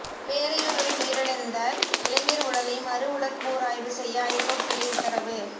பேரையூரில் உயிரிழந்த இளைஞர் உடலை மறு உடற்கூறாய்வு செய்ய ஐகோர்ட் கிளை உத்தரவு